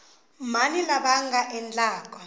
mani lava va nga endlaku